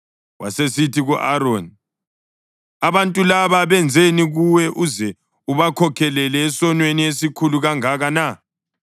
Wasesithi ku-Aroni, “Abantu laba benzeni kuwe uze ubakhokhelele esonweni esikhulu kangaka na?”